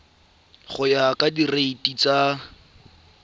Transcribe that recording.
go ya ka direiti tsa